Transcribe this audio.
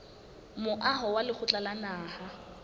moaho wa lekgotla la naha